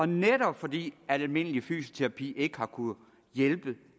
netop fordi almindelig fysioterapi ikke har kunnet hjælpe